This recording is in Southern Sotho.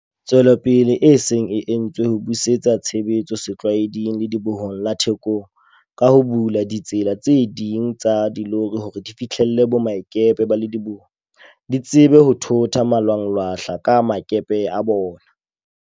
Tswelopele e se e entswe ho busetsa tshebetso setlwaeding Ledibohong la Thekong, ka ho bula ditsela tse ding tsa dilori hore di fihlelle boemakepe ba lediboho, di tsebe ho thotha malwanglwahla a boemakepeng bona.